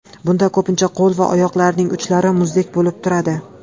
Bunda ko‘pincha qo‘l va oyoqlarning uchlari muzdek bo‘lib turadi.